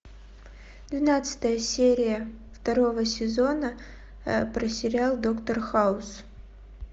двенадцатая серия второго сезона про сериал доктор хаус